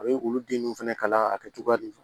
A bɛ olu den ninnu fana kala a kɛ cogoya de don